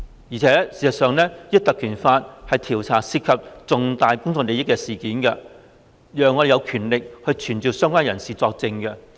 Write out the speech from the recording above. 而事實上，《條例》賦予我們權力，可調查涉及重大公眾利益的事件，並傳召相關人士作證。